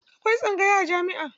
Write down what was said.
Akwai tsangaya a jami'a.